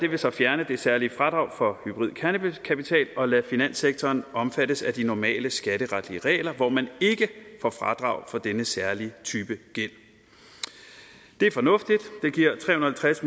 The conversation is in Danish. vil så fjerne det særlige fradrag for hybrid kernekapital og lade finanssektoren omfattes af de normale skatteretlige regler hvor man ikke får fradrag for denne særlige type gæld det er fornuftigt og halvtreds